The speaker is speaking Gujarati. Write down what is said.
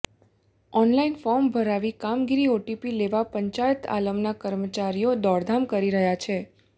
ઓનલાઈન ફોર્મ ભરાવી કામગીરી આટોપી લેવા પંચાયત આલમના કર્મચારીઓ દોડધામ કરી રહ્યા છે